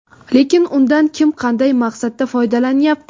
Lekin undan kim qanday maqsadda foydalanyapti?